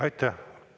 Aitäh!